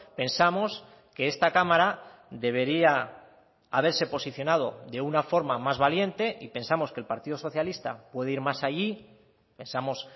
pensamos que esta cámara debería haberse posicionado de una forma más valiente y pensamos que el partido socialista puede ir más allí pensamos